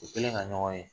U kɛlen ka ɲɔgɔn ye